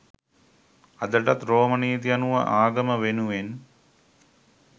අදටත් රෝම නීති අනුව ආගම වෙනුවෙන්